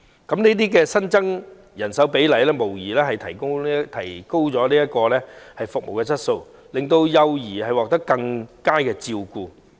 這些新增人手無疑能提高服務質素，令幼兒獲得更佳照顧。